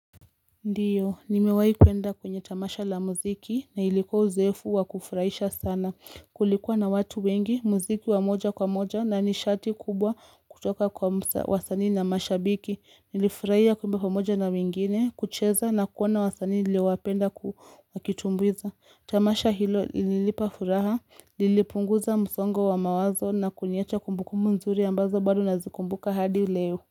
Ndiyo nimewahi kuenda kwenye tamasha la muziki na ilikuwa uzoefu wa kufurahisha sana kulikuwa na watu wengi muziki wa moja kwa moja na nishati kubwa kutoka kwa wasani na mashabiki nilifurahia kwamba kwa moja na mwingine kucheza na kuona wasani niliowapenda wakitumbuiza tamasha hilo ilinipafuraha lilipunguza msongo wa mawazo na kuniacha kumbukumbu mzuri ambazo bado nazikumbuka hadi leo.